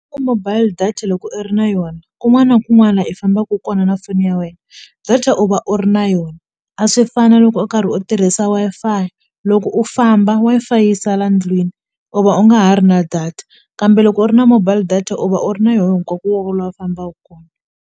Mobile data loko i ri na yona kun'wana kun'wana i fambaku kona na foni ya wena data u va u ri na yona a swi fani na loko u karhi u tirhisa Wi-Fi loko u famba Wi-Fi yi sala ndlwini u va u nga ha ri na data kambe loko u ri na mobile data u va u ri na yoho hinkwakokwako la fambaku .